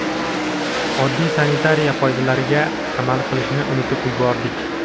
oddiy sanitariya qoidalariga amal qilishni unutib yubordik.